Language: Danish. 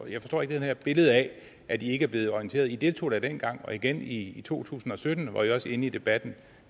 jeg forstår ikke det her billede af at i ikke er blevet orienteret i deltog da dengang og igen i to tusind og sytten var i også inde i debatten